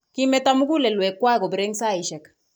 Kimeto mugulelwekwak kobirei eng saisiek